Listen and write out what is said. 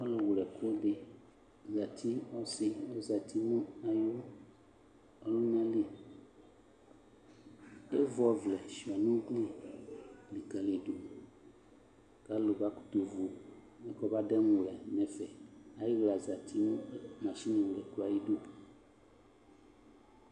Ɔlʋwlɛkʋ dɩ zati ɔsɩ ɔzati nʋ ayʋ ɔlʋna li Evu ɔvlɛ sʋɩa nʋ ugli likǝlidu kʋ alʋ bakʋtʋvu mɛ kɔmademuwlɛ nʋ ɛfɛ Ayɩɣla zati nʋ masiniwlɛkʋ yɛ ayidu